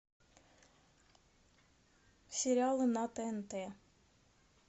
сериалы на тнт